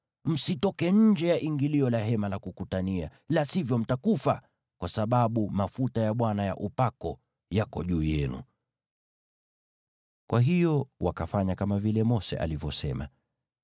Msitoke nje ya ingilio la Hema la Kukutania, la sivyo mtakufa, kwa sababu mafuta ya Bwana ya upako yako juu yenu.” Hivyo wakafanya kama vile Mose alivyosema.